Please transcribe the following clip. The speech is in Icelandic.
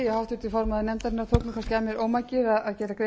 sé orðið tímabært að lögin komi til heildarendurskoðuanr